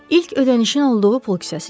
İlk ödənişin olduğu pul kisəsidir.